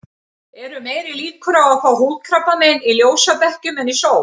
Eru meiri líkur á að fá húðkrabbamein í ljósabekkjum en í sól?